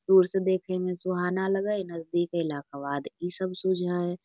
दूर से देखे में सुहाना लगै हय नजदीक आइला क बाद इ सब सुझा हय।